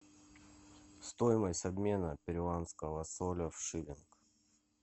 стоимость обмена перуанского соля в шиллинг